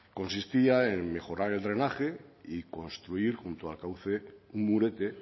consistía en mejorar el drenaje y construir junto al cauce un murete